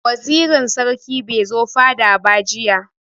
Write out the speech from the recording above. Wazirin sarki bai zo fada ba jiya.